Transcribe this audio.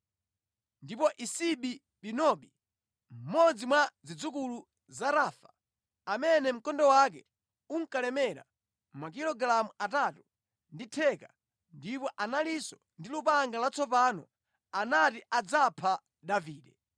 Ndipo Isibi-Benobi, mmodzi mwa zidzukulu za Rafa, amene mkondo wake unkalemera makilogalamu atatu ndi theka ndipo analinso ndi lupanga latsopano, anati adzapha Davide.